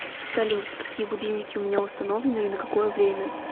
салют какие будильники у меня установлены и на какое время